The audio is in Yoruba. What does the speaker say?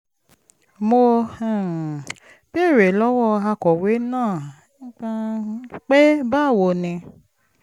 mo um béèrè lọ́wọ́ akọ̀wé náà pé báwo ni